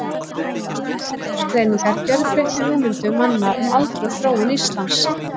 Þessar nýju aldursgreiningar gjörbreyttu hugmyndum manna um aldur og þróun Íslands.